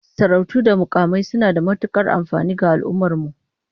Sarautu da mukamai suna da matukar amfani ga al'ummar mu